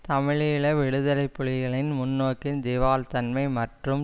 தமிழீழ விடுதலை புலிகளின் முன்னோக்கின் திவால்தன்மை மற்றும்